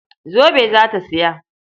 Zobe za ta saya.